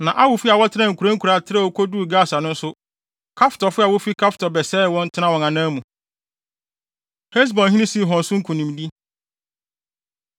Na Awifo a wɔtenaa nkuraa nkuraa trɛw koduu Gasa no nso, Kaftorfo a wofi Kaftor bɛsɛee wɔn, tenaa wɔn anan mu. Hesbonhene Sihon So Nkonimdi